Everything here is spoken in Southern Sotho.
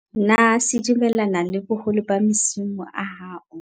Na se dumellana le boholo ba msimo a hao?